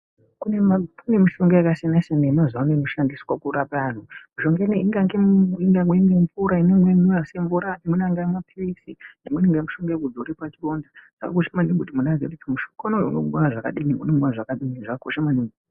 Kune mishonga yakasiyana-siyana yemazuva inoshandiswa kurape antu. Mishonga ineyi ingange mvura, imweni inenge isimvura, imweni angaa maphilizi, imweni ingaa mishonga yekudzore pachironda. Zvakakosha maningi kuti muntu aziye kuti mushonga uyu unomwiwa zvakadini, zvakakosha maningi.